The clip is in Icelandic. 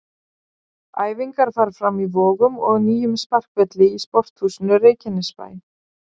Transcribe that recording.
Æfingar fara fram í Vogum og nýjum sparkvelli í Sporthúsinu Reykjanesbæ.